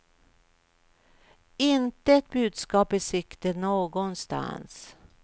Inte ett budskap i sikte någonstans.